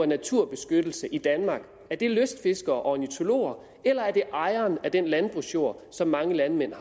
naturbeskyttelse i danmark er det lystfiskerne og ornitologerne eller er det ejerne af den landbrugsjord som mange landmænd